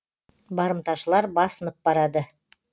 барымташылар басынып барады